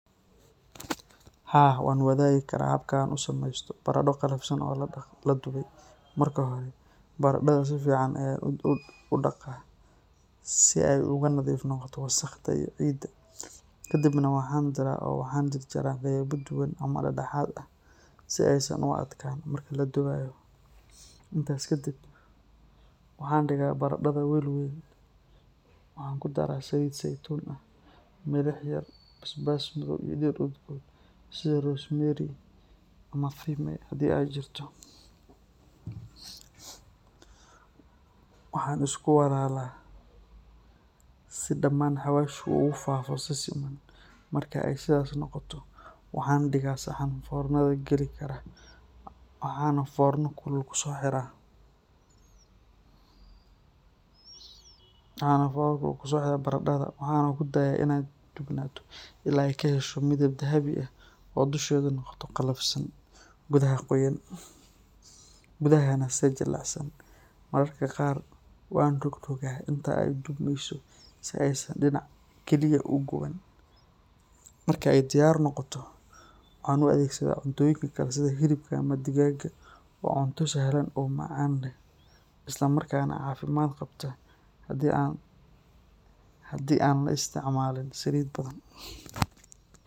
Haa, waan wadaagi karaa habka aan u sameysto baradho qallafsan oo la dubay. Marka hore, baradhada si fiican ayaan u dhaqaa si ay uga nadiif noqoto wasakhda iyo ciidda. Kadibna waan diiraa oo waxaan jarjaraa qaybo dhuuban ama dhexdhexaad ah, si aysan u adkaan marka la dubayo. Intaas ka dib, waxaan dhigaa baradhada weel weyn, waxaan ku darraa saliid saytuun ah, milix yar, basbaas madow iyo dhir udgoon sida rosemary ama thyme haddii ay jirto. Waxaan isku walaalaa si dhamaan xawaashka ugu faafo si siman. Marka ay sidaas noqoto, waxaan dhigaa saxan foornada gali kara, waxaan foorno kulul kusoo xiraa baradhada, waxaana ku daayaa inay dubnaato ilaa ay ka hesho midab dahabi ah oo dusheedu noqoto qallafsan, gudaha se jilicsan. Mararka qaar waan rogrogaa inta ay dubmeyso si aysan dhinac kaliya u guban. Marka ay diyaar noqoto, waxaan u adeegsadaa cuntooyinka kale sida hilibka ama digaagga. Waa cunto sahlan oo macaan leh isla markaana caafimaad qabta haddii aan la isticmaalin saliid badan.